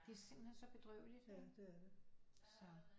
De er simpelthen så bedrøveligt